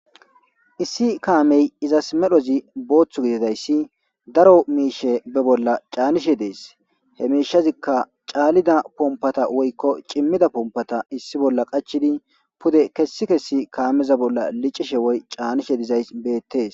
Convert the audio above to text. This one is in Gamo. Issi kaamey izas medhozi booththu gididayssi daro miishe be bolla caanishe dees he miishazikka caalida pompata woykko cimmida pompata issi bolla qachidi pude kessi kessi kaameza bolla licishe woy caanishe dizay beettees